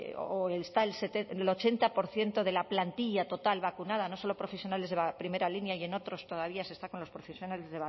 o está el ochenta por ciento de la plantilla total vacunada no solo profesionales de la primera línea y en otros todavía se está con las profesiones